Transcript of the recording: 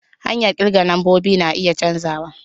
Hanyar kirga lambobi na iya canzawa.